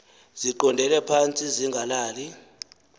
ziqondele phantsi zingalali